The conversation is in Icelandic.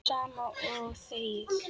Sama og þegið!